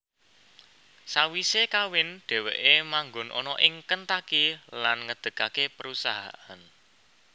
Sawise kawin dheweke manggon ana ing Kentucky lan ngedegake perusahaan